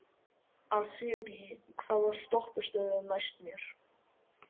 Asírí, hvaða stoppistöð er næst mér?